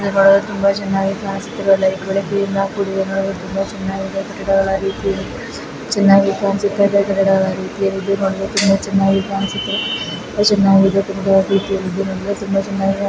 ಇಲ್ಲಿ ನೋಡಲು ಲೈಟ್ಸ್ಗಳಿಂದ ಕೂಡಿದೆ ನೋಡಲು ತುಂಬಾ ಚೆನ್ನಾಗಿ ಕಾಣಿಸುತ್ತಿದೆ. ಗಿಡಮರಗಳ ರೀತಿಯಿದ್ದು ನೋಡಲು ತುಂಬಾ ಚೆನ್ನಾಗಿ ಕಾಣಿಸುತ್ತಿದೆ.